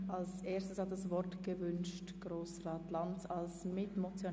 Als Erstes spricht Grossrat Lanz als Mitmotionär.